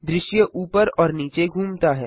दृश्य ऊपर और नीचे घूमता है